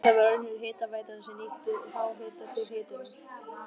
Þetta var önnur hitaveitan sem nýtti háhita til upphitunar.